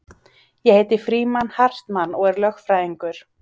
Ég heiti Frímann Hartmann og er lögfræðingur